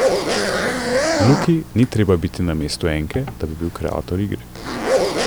Luki ni treba biti na mestu enke, da bi bil kreator igre.